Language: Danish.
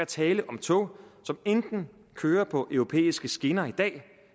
tale om tog som enten kører på europæiske skinner i dag